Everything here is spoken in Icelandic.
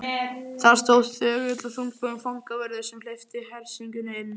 Þar stóð þögull og þungbúinn fangavörður sem hleypti hersingunni inn.